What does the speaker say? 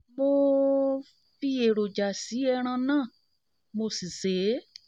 mo um fi èròjà èròjà sí ẹran náà mo si sè é